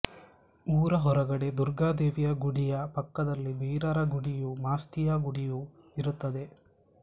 ಊರ ಹೊರಗಡೆ ದುರ್ಗಾದೇವಿಯ ಗುಡಿಯ ಪಕ್ಕದಲ್ಲಿ ಬೀರರ ಗುಡಿಯೂ ಮಾಸ್ತಿಯ ಗುಡಿಯೂ ಇರುತ್ತದೆ